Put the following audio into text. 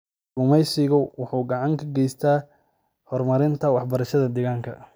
Kalluumaysigu waxa uu gacan ka geystaa horumarinta waxbarashada deegaanka.